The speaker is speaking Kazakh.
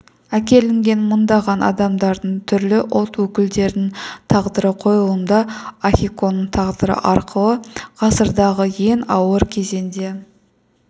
әкелінген мыңдаған адамдардың түрлі ұлт өкілдерінің тағдыры қойылымда ахиконың тағдыры арқылы ғасырдағы ең ауыр кезеңде